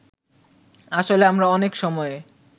আসলে আমরা অনেক সময়ে